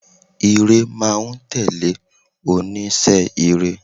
Ìre máa n tèlé onísé ire